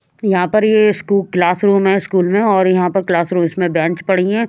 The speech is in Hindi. यहाँ पर यह स्कूल क्लासरूम है स्कूल में और यहाँ पर क्लासरूम इसमें बेंच पड़ी है।